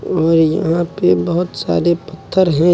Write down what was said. और यहां पे बहोत सारे पत्थर हैं।